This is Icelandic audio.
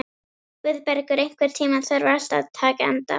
Guðbergur, einhvern tímann þarf allt að taka enda.